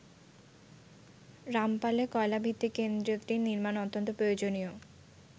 রামপালে কয়লা ভিত্তিক কেন্দ্রটি নির্মাণ অত্যন্ত প্রয়োজনীয়।